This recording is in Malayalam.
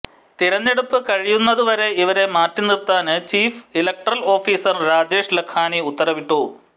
തെരഞ്ഞെടുപ്പ് കഴിയുന്നതുവരെ ഇവരെ മാറ്റിനിര്ത്താന് chief electoral officer Rajesh Lakhani ഉത്തരവിട്ടു